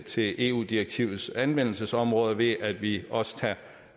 til eu direktivets anvendelsesområde ved at vi også tager